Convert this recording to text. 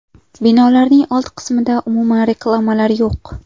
Binolarning old qismida umuman reklamalar yo‘q.